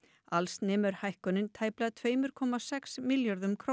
alls nemur hækkunin tæplega tveimur komma sex milljörðum króna